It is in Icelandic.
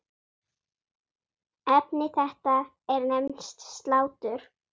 Efni þetta er nefnt slátur.